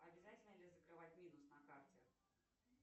обязательно ли закрывать минус на карте